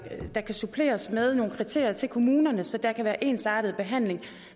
der kan suppleres med nogle kriterier til kommunerne så der kan være ensartet behandling